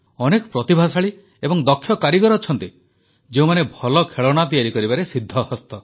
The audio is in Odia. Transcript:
ଅନେକ ପ୍ରତିଭାଶାଳୀ ଏବଂ ଦକ୍ଷ କାରିଗର ଅଛନ୍ତି ଯେଉଁମାନେ ଭଲ ଖେଳଣା ତିଆରି କରିବାରେ ସିଦ୍ଧହସ୍ତ